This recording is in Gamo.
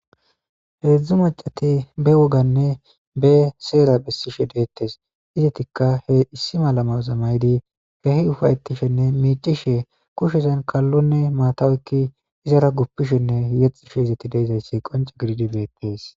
Hezdzdu macatai be woganne be seera besishshe detes izetikka he issi maala mayidi kehi upayetishshenne micishshe kushshezan kalonne maata oykidi gupishshenne yexishshe dizayssa qonce gidid bettes